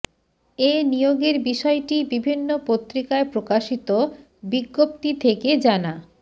এ নিয়োগের বিষয়টি বিভিন্ন পত্রিকায় প্রকাশিত বিজ্ঞপ্তি থেকে জানা